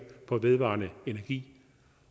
vedvarende energi